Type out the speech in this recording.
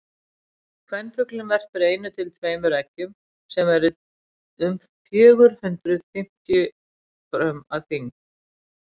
kvenfuglinn verpir einu til tveimur eggjum sem eru um fjögur hundruð fimmtíu grömm að þyngd